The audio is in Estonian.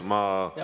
Jah.